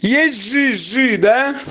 есть жи жи да